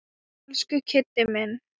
Elsku Kiddi minn.